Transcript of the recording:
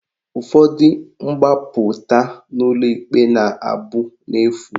Ụfọdụ mgbapụta n'ụlọ ikpe na abụ n'efu